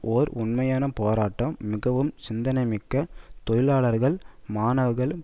ஓர் உண்மையான போராட்டம் மிகவும் சிந்தனைமிக்க தொழிலாளர்கள் மாணவர்கள்